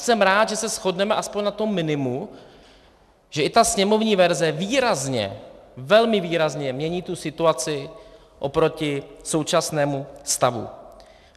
Jsem rád, že se shodneme alespoň na tom minimu, že i ta sněmovní verze výrazně, velmi výrazně mění tu situaci oproti současnému stavu.